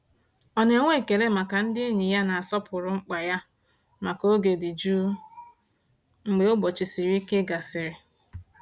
Ọ na-enwe ekele maka ndị enyi na-asọpụrụ mkpa ya maka oge dị jụụ mgbe ụbọchị siri ike gasịrị.